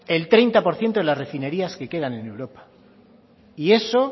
el treinta por ciento de las refinerías que quedan en europa y eso